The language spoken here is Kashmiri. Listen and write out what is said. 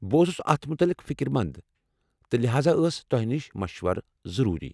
بہٕ اوسُس اتھ متعلق فِكر مَنٛد، تہٕ لہاذا ٲس توہہِ نِش مشورٕ ضروری۔